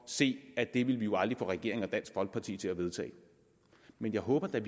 se at det vil vi aldrig få regeringen og dansk folkeparti til at vedtage men jeg håber da